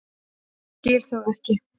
Skil þau ekki.